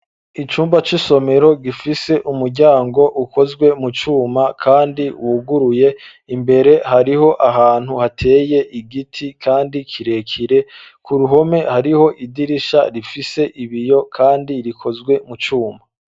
Icumba c'isomero, gifise umuryango, ukozwe mu cuma, kandi wuguruye; imbere hariho ahantu, hateye igiti, kandi kirekire; ku ruhome, hariho idirisha, rifise ibiyo, kandi rikozwe mu cuma.